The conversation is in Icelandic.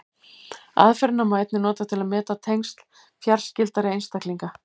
Aðferðina má einnig nota til að meta tengsl fjarskyldari einstaklinga.